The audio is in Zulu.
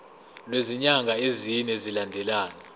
kwezinyanga ezine zilandelana